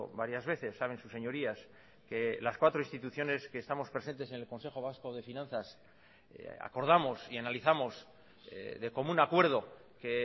varias veces saben sus señorías que las cuatro instituciones que estamos presentes en el consejo vasco de finanzas acordamos y analizamos de común acuerdo que